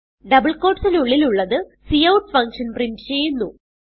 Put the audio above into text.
double quotesന് ഉള്ളിൽ ഉള്ളത് കൌട്ട് ഫങ്ഷൻ പ്രിന്റ് ചെയ്യുന്നു